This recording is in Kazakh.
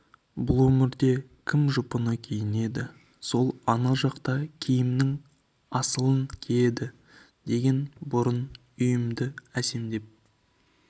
бұл өмірде кім жұпыны киінеді сол ана жақта киімнің асылын киеді деген бұрын үйімді әсемдеп